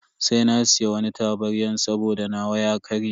Sai na siya wani tabaryan saboda nawa ya karye.